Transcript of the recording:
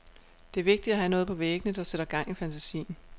Det er vigtigt at have noget på væggene, der sætter gang i fantasien.